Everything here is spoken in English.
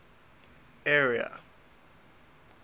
area